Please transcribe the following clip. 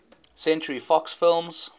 century fox films